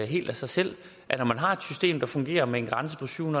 helt af sig selv når man har et system der fungerer med en grænse på syv